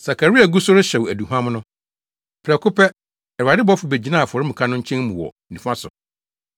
Sakaria gu so rehyew aduhuam no, prɛko pɛ, Awurade bɔfo begyinaa afɔremuka no nkyɛn mu wɔ nifa so.